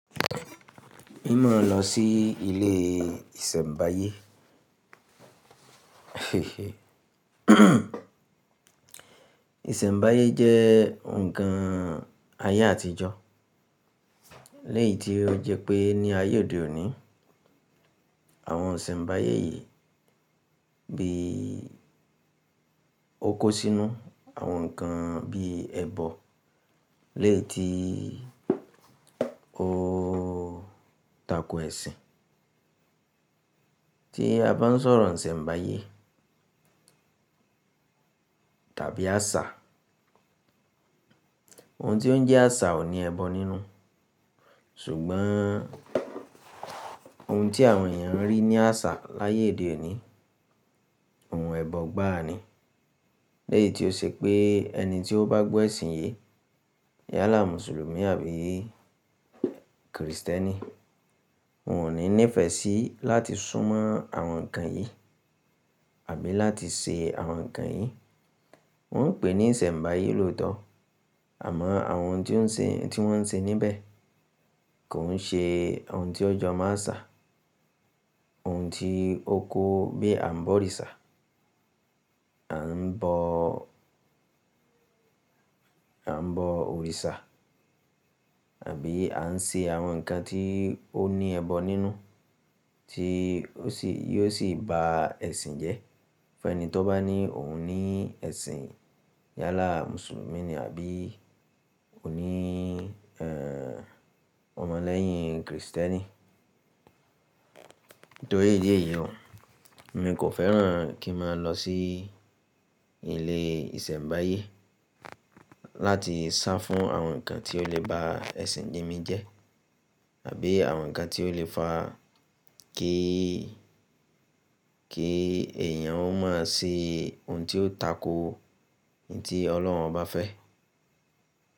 N ma la se ilé ìsẹ̀mbáyé. Ìsẹ̀mbáyé jẹ́ nǹkan ayé àtijọ́, léyìí tí ó jẹ́ pé ní ayé òde òní, àwọn ìsẹ̀mbáyé yìí bí ó kó sínú àwọn nǹkan bí ẹbọ léyìí tí ó tako ẹ̀sìn. Tí a bá ń sọ̀rọ̀ ìsẹ̀mbáyé tàbí àṣà, ohun tí ó ń jẹ́ àṣà ò ní ẹbọ nínú. Ṣùgbọ́n ohun tí àwọn èèyàn ń rí ní àṣà láyé de òní, ohun ẹbọ gbá a ni. Léyìí tí ó ṣe pé ẹni tí ó bá gbọ́ ẹ̀sìn yi, yálà Mùsùlùmí àbí Krìstẹ́nì, òun ò ní nífẹ̀ẹ́ sí láti súnmọ́ àwọn nǹkan yìí àbí láti ṣe àwọn nǹkan yìí. Wọ́n ń pè é ní ìsẹ̀mbáyé lóòótọ́, àmọ́ àwọn n tí ó ń ṣe, n tí wọ́n ń ṣe níbẹ̀ kò ń ṣe ohun tí ọ jọ́ máa asà, ohun tí ó kó bí a ń bọ̀ òrìṣà a ń àbo òrìṣà àbí a ń ṣe àwọn nǹkan tí ó ní ẹbọ nínú tí ó sì, yóò sì ba ẹ̀sìn jẹ́. Fún ẹni tó bá ní òun ní ẹ̀sìn yálà Mùsùlùmí ni àbí ò ní ọmọ lẹ́yìn Krìstẹ́nì. Torí èyí yìí òhún, mi kò fẹ́ràn kí n máa lọ sí ilé ìsẹ̀mbáyé láti sá fún àwọn nǹkan tí ó lè ba ẹ̀sìn mi jẹ́ àbí àwọn nǹkan tí ó lè fa a kí, kí èèyàn ó máa ṣe ohun tí ó tako u n tí Ọlọ́run bá fẹ́.